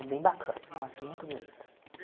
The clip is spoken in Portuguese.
É, bem bacana, nossa, muito bonito.